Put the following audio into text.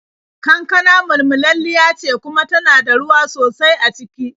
Kankana mulmulalliya ce kuma tana da ruwa sosai a ciki.